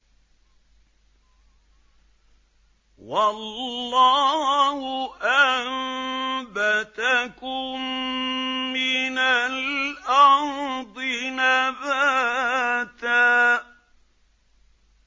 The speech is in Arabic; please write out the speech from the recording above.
وَاللَّهُ أَنبَتَكُم مِّنَ الْأَرْضِ نَبَاتًا